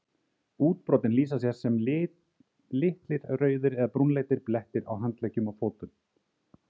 Útbrotin lýsa sér sem litlir rauðir eða brúnleitir blettir á handleggjum og fótum.